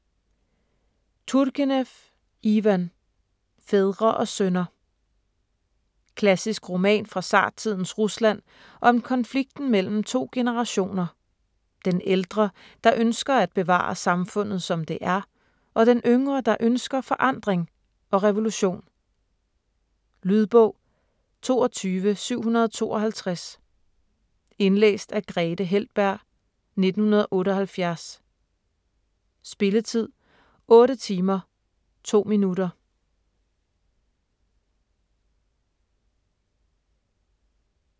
Turgenev, Ivan: Fædre og sønner Klassisk roman fra zartidens Rusland om konflikten mellem to generationer: den ældre, der ønsker at bevare samfundet som det er, og den yngre, der ønsker forandring og revolution. Lydbog 22752 Indlæst af Grethe Heltberg, 1978. Spilletid: 8 timer, 2 minutter.